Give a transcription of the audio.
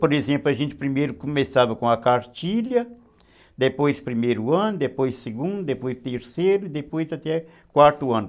Por exemplo, a gente primeiro começava com a cartilha, depois primeiro ano, depois segundo, depois terceiro, depois até quarto ano.